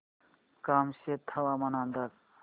कामशेत हवामान अंदाज